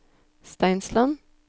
Steinsland